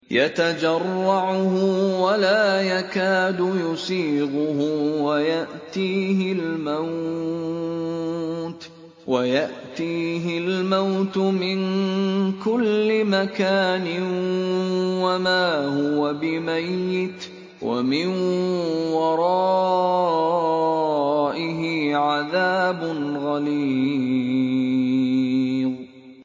يَتَجَرَّعُهُ وَلَا يَكَادُ يُسِيغُهُ وَيَأْتِيهِ الْمَوْتُ مِن كُلِّ مَكَانٍ وَمَا هُوَ بِمَيِّتٍ ۖ وَمِن وَرَائِهِ عَذَابٌ غَلِيظٌ